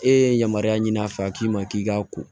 E ye yamaruya ɲini a fɛ a k'i ma k'i ka ko